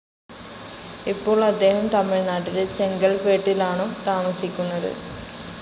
ഇപ്പോൾ അദ്ദേഹം തമിഴ്നാട്ടിലെ ചെങ്കൽപ്പേട്ടിലാണു താമസിക്കുന്നത്.